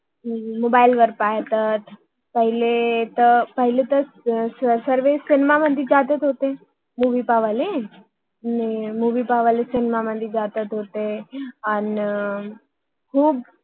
mobile Mobile वर पाहतात हम्म पहिले तर सर्वे सिनेमा मध्ये जाताच हम्म होते मुवि बघायला